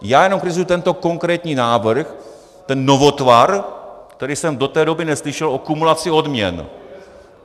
Já jenom kritizuji tento konkrétní návrh, ten novotvar, který jsem do té doby neslyšel, o kumulaci odměn.